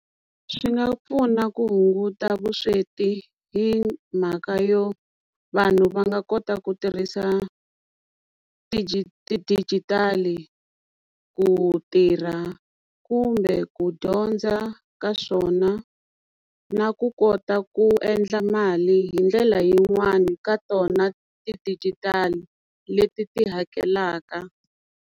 Swi nga pfuna ku hunguta vusweti hi mhaka yo vanhu va nga kota ku tirhisa ti-digital ku tirha kumbe ku dyondza ka swona na ku kota ku endla mali hi ndlela yin'wani ka tona ti-digital leti ti hakelaka.